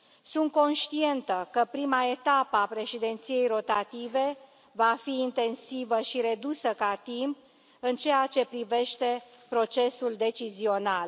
Sunt conștientă că prima etapă a președinției rotative va fi intensivă și redusă ca timp în ceea ce privește procesul decizional.